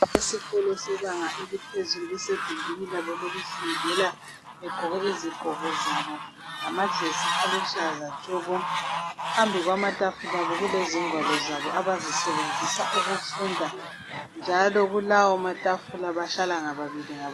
Abesikolo sebanga eliphezulu basegumbini labo lokufundela, begqoke izigqoko zabo, lamajesi aluhlaza tshoko. Phambi kwamatafula abo kulezingwalo zabo abazisebenzisa ukufunda. Njalo kulawomatafula bahlala ngababili ngababili.